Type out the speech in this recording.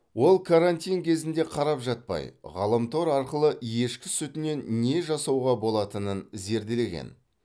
ол карантин кезінде қарап жатпай ғаламтор арқылы ешкі сүтінен не жасауға болатынын зерделеген